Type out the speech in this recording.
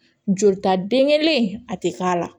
Jolita den kelen a tɛ k'a la